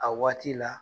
A waati la